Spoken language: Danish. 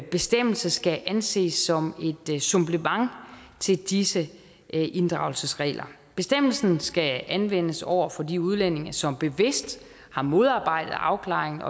bestemmelse skal anses som et supplement til disse inddragelsesregler bestemmelsen skal anvendes over for de udlændinge som bevidst har modarbejdet afklaring